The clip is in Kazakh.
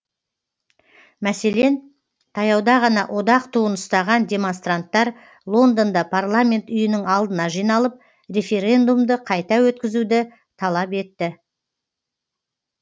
мәселен таяуда ғана одақ туын ұстаған демонстранттар лондонда парламент үйінің алдына жиналып референдумды қайта өткізуді талап етті